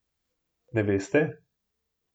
Ne veste?